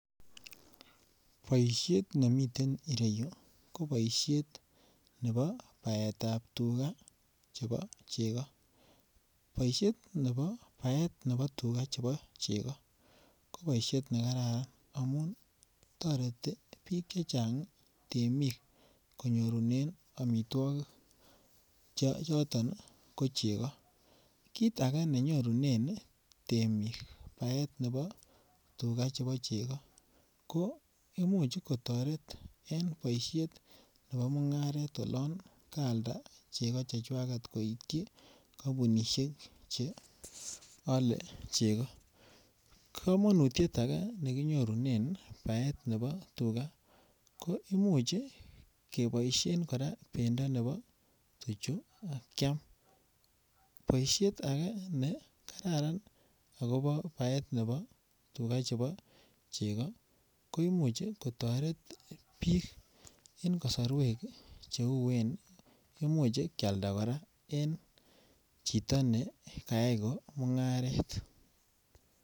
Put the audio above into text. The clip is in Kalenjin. Boishet nemiten ireyu ko boishet nebo baetab tuga chebo chego. Boishet nebo baet nebo tuga chebo chego ko boishet ne kararan amun toreti biik chechang ii temik konyorunen omitwokik choton ko chego kit age ne nyorunen temik baet nebo tuga chebo ko imuch kotoret en boishet nebo mungaret olon kaalda chego chechwaget koityin kompunishek che ole chego. Komonutiet agee ne kinyoru baet nebo tuga ko imuch keboishen koraa bendo nebo tuchu kyam. Boishet agee ne kararan akopo baet nebo tuga chebo chego koimuch kotoret biik en kosorwek che uen imuch kyalda koraa en chito ne kayay ko mungaret